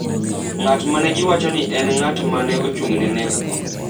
ng’at ma ne giwacho ni en ng’at ma ne ochung’ne nekgo.